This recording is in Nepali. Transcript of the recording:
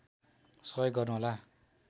सहयोग गर्नुहोला